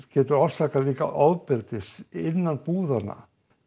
getur það orsakað ofbeldi innan búðanna